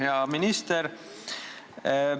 Hea minister!